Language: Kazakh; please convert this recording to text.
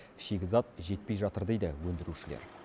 шикізат жетпей жатыр дейді өндірушілер